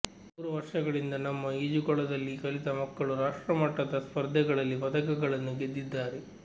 ಮೂರು ವರ್ಷಗಳಿಂದ ನಮ್ಮ ಈಜುಕೊಳದಲ್ಲಿ ಕಲಿತ ಮಕ್ಕಳು ರಾಷ್ಟ್ರಮಟ್ಟದ ಸ್ಪರ್ಧೆಗಳಲ್ಲಿ ಪದಕಗಳನ್ನು ಗೆದ್ದಿದ್ದಾರೆ